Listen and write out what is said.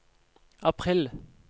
april